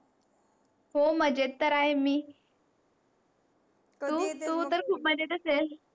हो मजेत तर आहे मी. तू तर खूप मजेत असेल?